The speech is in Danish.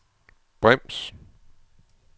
brems